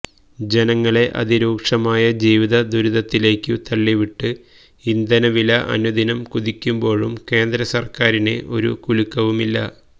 ജനങ്ങളെ അതിരൂക്ഷമായ ജീവിത ദുരിതത്തിലേക്ക് തള്ളിവിട്ട് ഇന്ധനവില അനുദിനം കുതിക്കുമ്പോഴും കേന്ദ്ര സര്ക്കാരിന് ഒരു കുലുക്കവുമില്ല